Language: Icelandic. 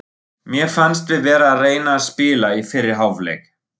Mér fannst við vera að reyna að spila í fyrri hálfleik.